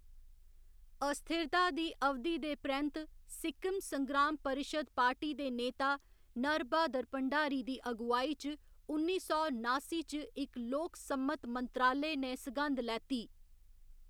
अस्थिरता दी अवधि दे परैंत्त, सिक्किम संग्राम परिशद् पार्टी दे नेता, नर ब्हादर भंडारी दी अगुवाई च उन्नी सौ नासी च इक लोकसम्मत मंत्रालय ने सघंद लैती।